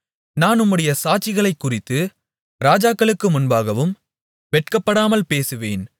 நான் உம்முடைய சாட்சிகளைக் குறித்து ராஜாக்களுக்கு முன்பாகவும் வெட்கப்படாமல் பேசுவேன்